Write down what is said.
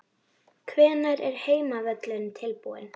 Hvenær er heimavöllurinn tilbúinn?